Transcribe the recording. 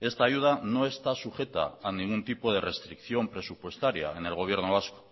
esta ayuda no está sujeta a ningún tipo de restricción presupuestaria en el gobierno vasco